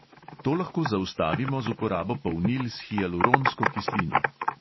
To lahko zaustavimo z uporabo polnil s hialuronsko kislino.